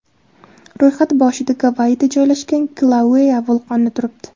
Ro‘yxat boshida Gavayida joylashgan Kilauea vulqoni turibdi.